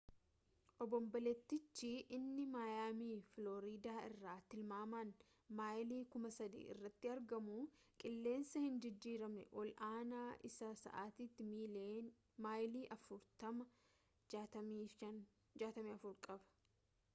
obonboleettichi inni maayaamii filooriidaa irraa timaamaan maayilii 3,000 irratti argamu qilleensa hinjijjiiramne ol aanaa isaa sa’atiitti maayilii 40 64 kph qaba